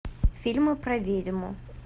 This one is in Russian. фильмы про ведьму